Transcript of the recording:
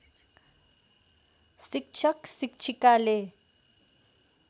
शिक्षक शिक्षिकाले